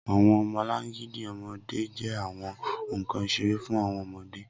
Awọn ọmọlangidi ọmọde jẹ awọn nkan isere fun awọn ọmọde